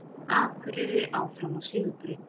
Akureyri áfram á sigurbraut